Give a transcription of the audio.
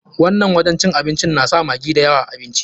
Wannan wajen cin abincin na sa maggi da yawa a abinci.